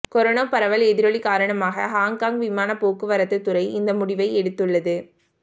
corona பரவல் எதிரொலி காரணமாக ஹாங்காங் விமானப் போக்குவரத்துத் துறை இந்த முடிவை எடுத்துள்ளது